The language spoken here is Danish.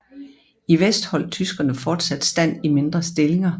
I vest holdt tyskerne fortsat stand i mindre stillinger